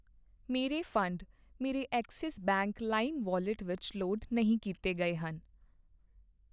ਮੇਰੇ ਫੰਡ ਮੇਰੇ Axis bank Lime wallet ਵਿੱਚ ਲੋਡ ਨਹੀਂ ਕੀਤੇ ਗਏ ਹਨ।